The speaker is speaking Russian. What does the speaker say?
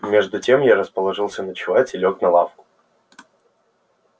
между тем я расположился ночевать и лёг на лавку